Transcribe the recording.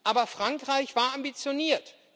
Aber Frankreich war ambitioniert.